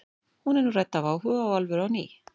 Hún er nú rædd af áhuga og alvöru á ný.